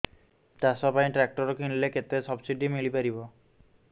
ଚାଷ ପାଇଁ ଟ୍ରାକ୍ଟର କିଣିଲେ କେତେ ସବ୍ସିଡି ମିଳିପାରିବ